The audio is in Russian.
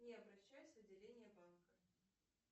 не обращаясь в отделение банка